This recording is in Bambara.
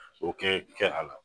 O kɛ kɛ a la